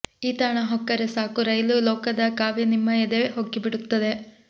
ಈ ತಾಣ ಹೊಕ್ಕರೆ ಸಾಕು ರೈಲು ಲೋಕದ ಕಾವ್ಯ ನಿಮ್ಮ ಎದೆ ಹೊಕ್ಕಿಬಿಡುತ್ತದೆ